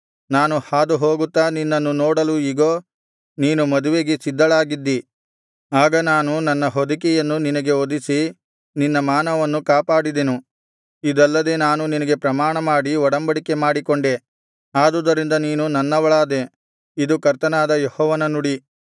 ನಾನು ಹಾದುಹೋಗುತ್ತಾ ನಿನ್ನನ್ನು ನೋಡಲು ಇಗೋ ನೀನು ಮದುವೆಗೆ ಸಿದ್ಧಳಾಗಿದ್ದಿ ಆಗ ನಾನು ನನ್ನ ಹೊದಿಕೆಯನ್ನು ನಿನಗೆ ಹೊದಿಸಿ ನಿನ್ನ ಮಾನವನ್ನು ಕಾಪಾಡಿದೆನು ಇದಲ್ಲದೆ ನಾನು ನಿನಗೆ ಪ್ರಮಾಣಮಾಡಿ ಒಡಂಬಡಿಕೆ ಮಾಡಿಕೊಂಡೆ ಆದುದರಿಂದ ನೀನು ನನ್ನವಳಾದೆ ಇದು ಕರ್ತನಾದ ಯೆಹೋವನ ನುಡಿ